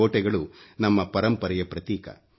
ಕೋಟೆಗಳು ನಮ್ಮ ಪರಂಪರೆಯ ಪ್ರತೀಕ